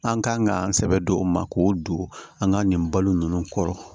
An kan ka sɛbɛ don o ma k'o don an ka nin balo nunnu kɔrɔ